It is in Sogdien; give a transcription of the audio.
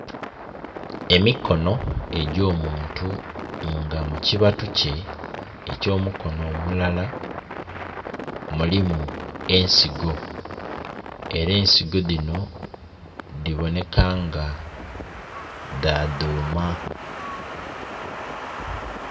Emikonho egyo omuntu nga mu kibatu kye ekyo mukonho omulala mulimu ensigo era ensigo dhino dhibonheka nga dha dhuuma.